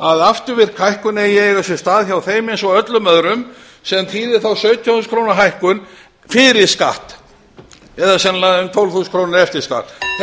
að afturvirk hækkun eigi að eiga sér stað hjá þeim eins og öllum öðrum sem þýðir þá sautján þúsund króna hækkun fyrir skatt sennilega um tólf þúsund krónur eftir skatt þetta er nú allt sem það snýst um